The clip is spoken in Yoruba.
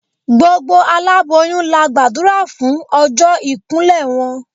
Gbogbo aláboyún la gbàdúrà fún ọjọ́ ìkún lẹ̀ wọn.